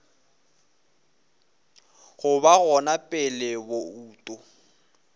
go ba gona pele bouto